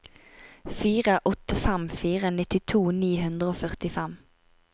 fire åtte fem fire nittito ni hundre og førtifem